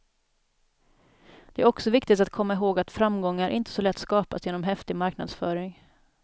Det är också viktigt att komma ihåg att framgångar inte så lätt skapas genom häftig marknadsföring.